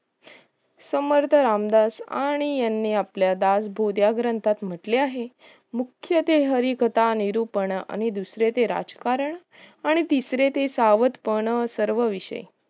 समर्थ रामदास आणि आपले दास बोधा ग्रंथात कुठल्याही मुख्य देह हारी निरुपण आणि दुसरे ते राजकारण आणि तिसरे ते सावदपण सर्व विषय